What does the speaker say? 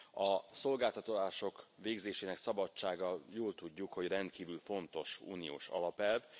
A szolgáltatások végzésének szabadsága, jól tudjuk, hogy rendkívül fontos uniós alapelv.